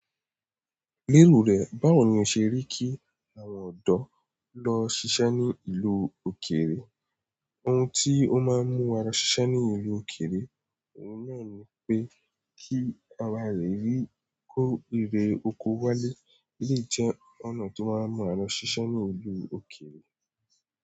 Lérò rẹ̀, báwo ni o ṣe rí kí àwọn ọ̀dọ́ lọ ṣiṣẹ́ ní ìlú òkèèrè? Ohun tí ó máa ń mú wa ṣiṣẹ́ ní ìlú òkèèrè, ohun náà ni pé kí awa rẹ̀ rí kó rere oko wálé, eleyi jẹ́ ọnà tó máa ń mú wa ṣiṣẹ́ ní ìlú òkèèrè.